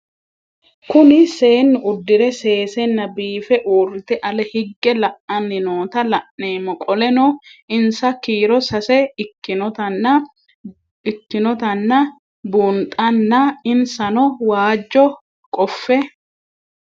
Kuri seenu udire sesena biife urite ale hige la'ani noota la'nemo qoleno insa kiiro sase ikinotana bunxana insano waajo qofe